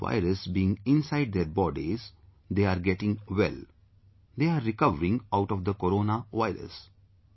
Despite the virus being inside their bodies, they are getting well; they are recovering out of the Corona virus